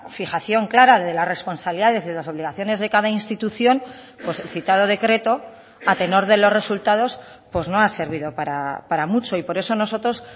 fijación clara de las responsabilidades y las obligaciones de cada institución pues el citado decreto a tenor de los resultados pues no ha servido para mucho y por eso nosotros